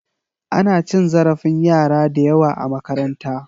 Ana cin zarafin yara da yawa a makaranta.